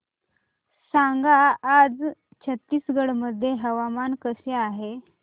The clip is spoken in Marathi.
सांगा आज छत्तीसगड मध्ये हवामान कसे आहे